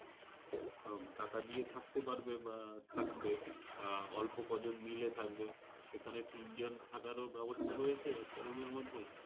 আহ টাকা দিয়ে থাকতে পারবে বা থাকবে। বা অল্প কজন মিলে থাকবে সেখানে তিনজন থাকারো ব্যাবস্থা রয়েছে একটা room এর মধ্যে।